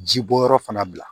Ji bɔyɔrɔ fana bila